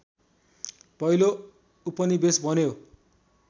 पहिलो उपनिवेश बन्यो